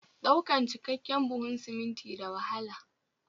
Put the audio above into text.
Ɗaukan cikakken buhun siminti da wahala